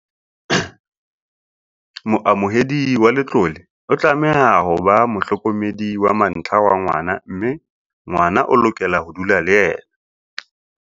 Moamohedi wa letlole o tlameha ho ba mohlokome -di wa mantlha wa ngwana mme ngwana o lokela ho dula le yena.